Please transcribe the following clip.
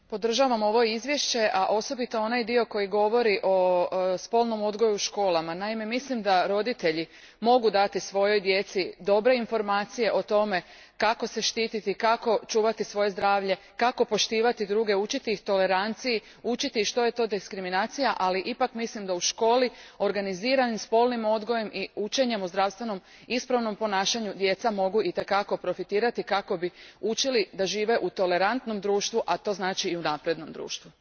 Gospodine predsjedniče, podržavam ovo izvješće, a posebno onaj dio koji govori o spolnom odgoju u školama. Naime, mislim da roditelji mogu dati svojoj djeci dobre informacije o tome kako se štititi, kako čuvati svoje zdravlje, kako poštovati druge, učiti ih toleranciji, učiti ih što je to diskriminacija, ali ipak mislim da u školi organiziranim spolnim odgojem i učenjem o zdravstveno ispravnom ponašanju djeca mogu itekako profitirati kako bi učili živjeti u tolerantnom društvu, a to znači i u naprednom društvu.